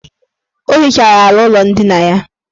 O hichara ala ụlọ ndina ya.